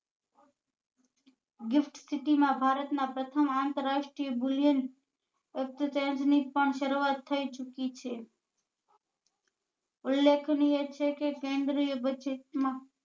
Gift city માં ભારત માં પ્રથમ આંતરરાષ્ટ્રીય ગુલીયન exercise પણ સરુઆત થઇ ચુકી છે ઉલેખનીય છે કે કેન્દ્રીય budget માં